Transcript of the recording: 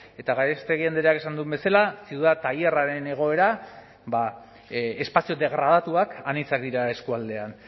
eta gallástegui andreak esan duen bezala ciudad taller aren egoera espazio degradatuak anitzak dira eskualdean